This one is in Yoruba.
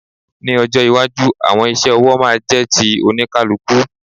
Ní ọjọ́ iwájú, àwọn iṣẹ́ ọwọ́ máa jẹ́ ti oníkálukú.